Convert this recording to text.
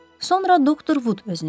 Sonra doktor Vud özünü yetirib.